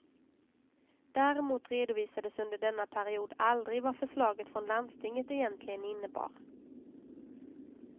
Däremot redovisades under denna period aldrig vad förslaget från landstinget egentligen innebar.